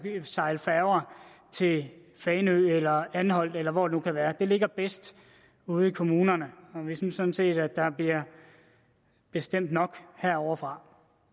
sejle færger til fanø eller anholt eller hvor det nu kan være det ligger bedst ude i kommunerne vi synes sådan set at der bliver bestemt nok herovrefra